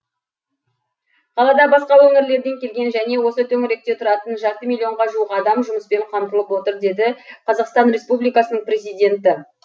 қалада басқа өңірлерден келген және осы төңіректе тұратын жарты миллионға жуық адам жұмыспен қамтылып отыр деді қазақстан республикасының президенті